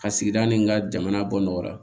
Ka sigida ni ka jamana bɔ nɔgɔla